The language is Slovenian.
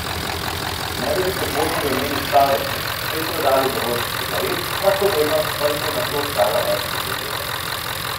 Ne da bi podvomili o njeni starosti, so ji prodali zavojček cigaret, lahkovernost pa jih je nato stala več tisoč evrov.